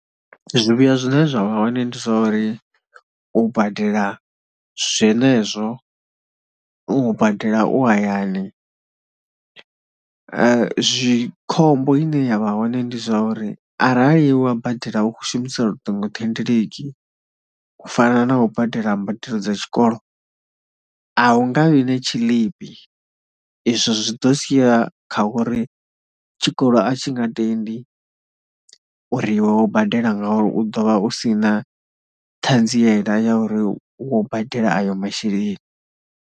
Zwivhuya zwine zwa vha hoṋe ndi zwa uri u badela zwenezwo, u badela u hayani, zwi, khombo ine ya vha hone ndi zwa uri arali wa badela u khou shumisa luṱingothendeleki u fana na u badela mbadelo dza tshikolo, a hu nga vhi na tshiḽipi. Izwo zwi ḓo sia kha uri, tshikolo a tshi nga tendi uri iwe wo badela nga uri u ḓo vha u si na ṱhanziela ya uri wo badela ayo masheleni.